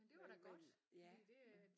Men det var da godt fordi det øh